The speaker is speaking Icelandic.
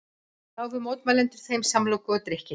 Gáfu mótmælendur þeim samlokur og drykki